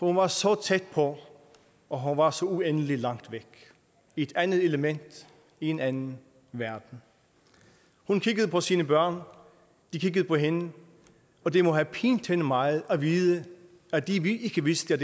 hun var så tæt på og hun var så uendelig langt væk i et andet element i en anden verden hun kiggede på sine børn de kiggede på hende og det må have pint hende meget at vide at de ikke vidste